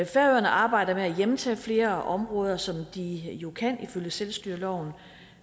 færøerne arbejder med at hjemtage flere områder som de jo kan ifølge selvstyreloven